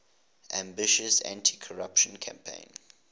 ambitious anticorruption campaign